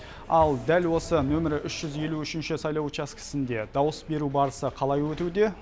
ал дәл осы нөмірі үш жүз елу үшінші сайлау учаскісінде дауыс беру барысы қалай өтуде